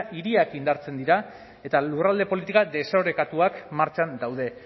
hiriak indartzen dira eta lurralde politika desorekatuak martxan daude